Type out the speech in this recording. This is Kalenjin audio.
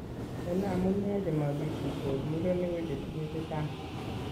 En amune chemagikuitos ,murenik ko chetinye chechang